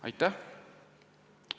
Aitäh!